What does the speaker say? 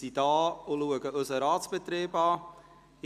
Sie sind hier, um sich unseren Ratsbetrieb anzusehen.